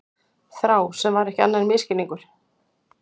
Þrá sem var ekki annað en misskilningur.